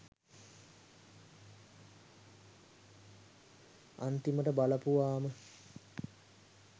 අන්තිමට බලපුවහම